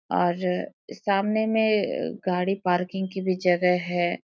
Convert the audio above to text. और सामने में अअ गाड़ी पार्किंग की भी जगह है।